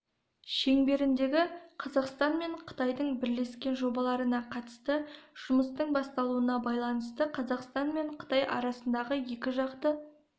шеңберіндегі қазақстан мен қытайдың бірлескен жобаларына қатысты жұмыстың басталуына байланысты қазақстан мен қытай арасындағы екіжақты